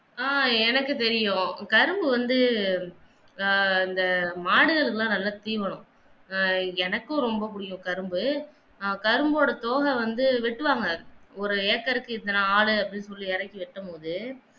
ஆஹ் எனக்கு தெரியும் கரும்பு வந்து ஆஹ் இந்த மாடுகளுக்கு எல்லாம் நல்லா தீன் வேணும் ஆஹ் எனக்கும் ரொம்ப புடிக்கும் கரும்பு ஆஹ் கரும்போட தோக வந்து வெட்டுவாங்க ஒரு ஏக்கருக்கு இத்தனை ஆலு அப்படின்னு சொல்லி இறக்கி வெட்டும் போது